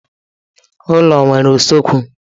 Ụlọ nwere usekwu.